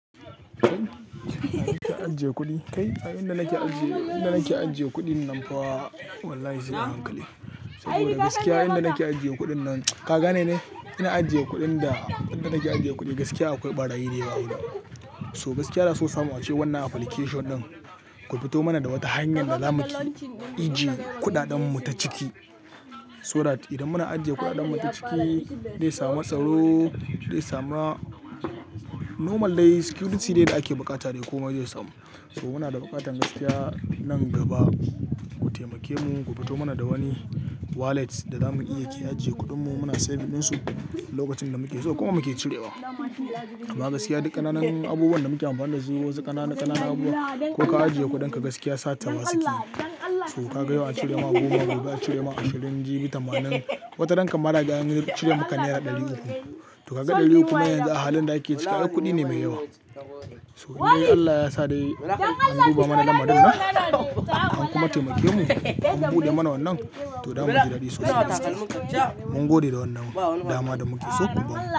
Kai, a inda nake ajiye, inda nake ajiye kuɗin nan fa wallahi sai hankali. Saboda gaskiya inda nake ajiye kuɗin nan, ka gane ne? Ina ajiye kuɗin da, inda nake ajiye kuɗi gaskiya akwai ɓarayi da yawa a wuri. So gaskiya na so samu wacce wanna application ɗin ku fito mana da wata hanyar da za mu iji kuɗaɗen mu ta ciki. So that idan muna ajiye kuɗaɗen mu ta ciki, dai samu tsaro, dai samu a normal dai security ne da ake buƙata dai komai zai samu. So muna da buƙatan gaskiya nan gaba ku taimake mu, ku fito mana da wani wallet da za mun iya ajiye kuɗin mu muna safe ɗin su lokacin da muke so kuma muke cirewa. Amma gaskiya duk ƙananan abubuwan da muke amfani da su wasu ƙananan, ƙananan abubuwa ko ka ajiye kuɗinka gaskiya satawa su cika. So ka ga yau an cire ma goma, gobe an cire ma ashirin jibi tamanin. Wata ranka ma na gani an cire maka naira ɗari uku. To ka ga ɗari uku man yanzu a halin da ake cika, ai kuɗi ne mai yawa. So dai Allah ya sa dai an duba mana daman dinnan, an kuma taimake mu an buɗe mana wannan, to za mu ji daɗi sosai. Mun gode da wannan dama da muke so kuma.